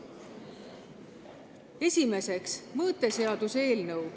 Esimeseks, mõõteseaduse eelnõu.